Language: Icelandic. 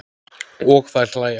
Og þær hlæja.